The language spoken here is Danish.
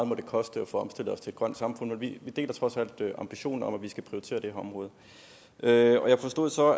må koste at få omstillet os til et grønt samfund men vi deler trods alt ambitionen om at vi skal prioritere det her område jeg jeg forstod så